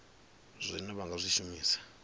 zwine vha nga zwi shumisa